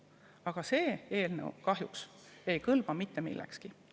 Aga see eelnõu ei kõlba kahjuks mitte millekski.